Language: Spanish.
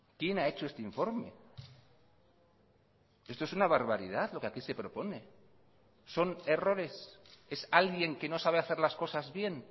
quién ha hecho este informe esto es una barbaridad lo que aquí se propone son errores es alguien que no sabe hacer las cosas bien